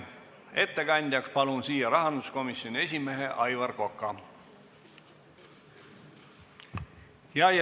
Ettekandjaks palun rahanduskomisjoni esimehe Aivar Koka!